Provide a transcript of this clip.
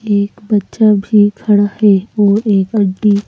एक बच्चा भी खड़ा है और एक अन्टि --